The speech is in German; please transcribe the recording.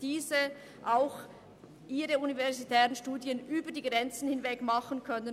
Sie sollen ihren universitären Studien über die Grenzen hinweg nachgehen können.